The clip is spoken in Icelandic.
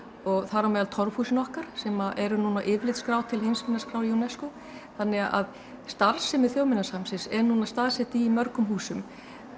og þar á meðal torfhúsin okkar sem eru núna á yfirlitsskrá til UNESCO þannig að starfsemi Þjóðminjasafnsins er núna staðsett í mörgum húsum